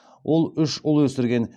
ол ұш ұл өсірген